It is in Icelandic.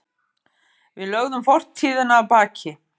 Við lögðum fortíðina að baki.